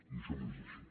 i això no és així